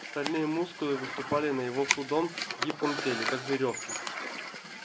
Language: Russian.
стальные мускулы выступали на его худом гибком теле как верёвки